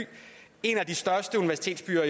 en af de største universitetsbyer